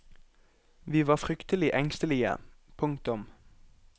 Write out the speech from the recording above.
Vi var fryktelig engstelige. punktum